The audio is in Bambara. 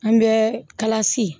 An bɛ kalasi